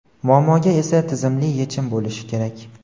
muammoga esa tizimli yechim bo‘lishi kerak.